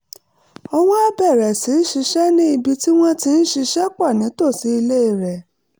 ó wá bẹ̀rẹ̀ sí í ṣiṣẹ́ ní ibi tí wọ́n ti ń ṣiṣẹ́ pọ̀ nítòsí ilé rẹ̀